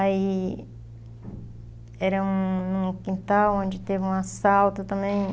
Aí... Era um num quintal onde teve um assalto também.